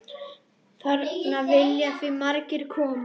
Þarna vilja því margir koma.